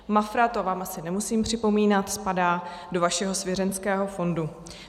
Mafra - to vám asi nemusím připomínat - spadá do vašeho svěřenského fondu.